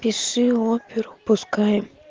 пиши оперу пускай